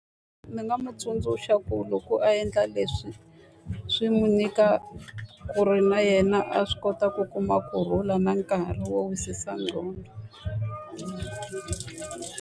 Ndzi nga n'wi tsundzuxa ku loko a endla leswi, swi n'wi nyika ku ri na yena a swi kota ku kuma kurhula na nkarhi wo wisisa ngqondo.